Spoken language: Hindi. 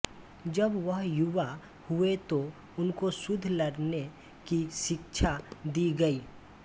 जब वह युवा हुए तो उनको युद्ध लड़ने की शिक्षा दी गई